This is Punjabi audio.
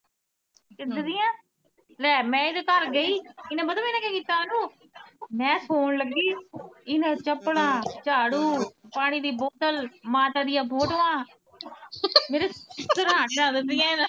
ਕਿਦਾ ਦੀਆਂ, ਲੈ ਮੈਂ ਇਦੇ ਘਰ ਗਈ, ਇੰਨੇ ਪਤਾ ਮੇਰੇ ਨਾਂ ਕੀ ਕੀਤਾ ਅਨੂ ਮੈਂ ਸੋਣ ਲੱਗੀ, ਇੰਨਾਂ ਨੇ ਚੱਪਲਾਂ, ਝਾੜੂ, ਪਾਣੀ ਦੀ ਬੋਤਲ, ਮਾਤਾ ਦੀ ਫੋਟੋਆਂ ਮੇਰੇ ਸਰਾਣੇ ਰੱਖ ਦਿੱਤੀਆ ਇੰਨਾਂ ਨੇ।